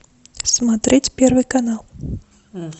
смотреть первый канал